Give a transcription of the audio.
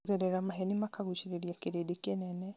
kũgerera maheni makagucirĩria kĩrĩndĩ kĩnene